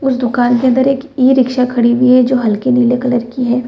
उस दुकान के अंदर एक ई-रिक्शा खड़ी हुई है जो हल्की नीले कलर की है।